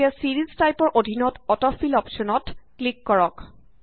এতিয়া ছিৰিজ টাইপৰ অধীনত অট ফিল অপশ্যনত ক্লিক কৰক